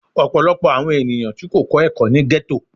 Ọpọlọpọ awọn eniyan ti ko kọ ẹkọ ni ghetto